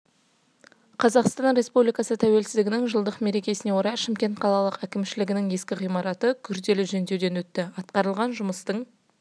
қазақстан республикасы тәуелсіздігінің жылдық мерекесіне орай шымкент қалалық кімшілігінің ескі ғимараты күрделі жөндеуден өтті атқарылған жұмыстың